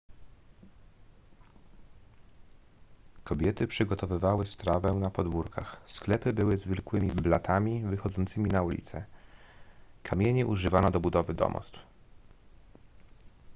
kobiety przygotowywały strawę na podwórkach sklepy były zwykłymi blatami wychodzącymi na ulicę kamieni używano do budowy domostw